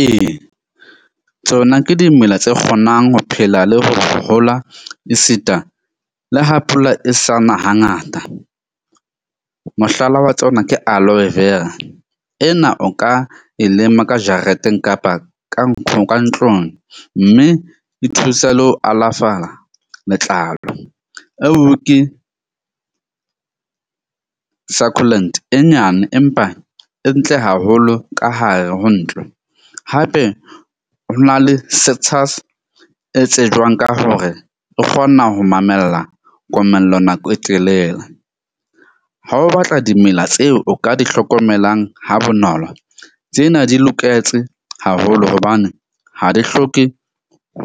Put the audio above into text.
Ee tsona ke dimela tse kgonang ho phela le ho hola esita le ha pula e sa na hangata. Mohlala wa tsona ke aloe vera ena, o ka e lema ka jareteng kapa ka ka ntlong. Mme e thusa le ho alafala letlalo. Eo ke succulent e nyane empa e ntle haholo ka hare ho ntlo. Hape ho na le setsha se tsejwang ka hore o kgona ho mamella komello nako e telele. Ha o batla dimela tseo o ka di hlokomelang ha bonolo. Tsena di loketse haholo hobane ha di hloke